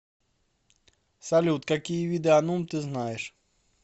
салют какие виды анум ты знаешь